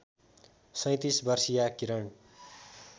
३७ वर्षीया किरण